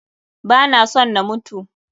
Ba na son na mutu.